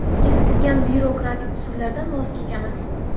eskirgan byurokratik usullardan voz kechamiz.